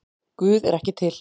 Guð er ekki til